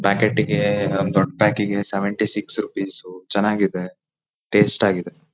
ಪ್ಯಾಕೆಟಿಗೆ ಒಂದ್ ದೊಡ್ಡ್ ಪ್ಯಾಕಿಗೆ ಸೆವೆಂಟಿಸಿಕ್ಸ್ ರುಪೀಸ್ ಚೆನಾಗಿದೆ ಟೇಸ್ಟ್ ಆಗಿದೆ.